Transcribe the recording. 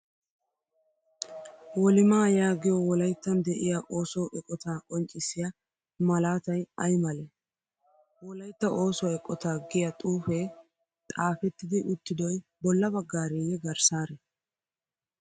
Wolimaa yaagiyo wolayttan de'iya osso eqotaa qonccissiya malaatay ay malee? Wolaytta oosuwa eqotaa giya xuufee xaafettidi uttidoy bolla baggareeyye garssaaree?